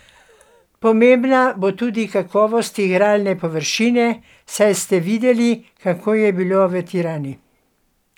Pomembna bo tudi kakovost igralne površine, saj ste videli, kako je bilo v Tirani.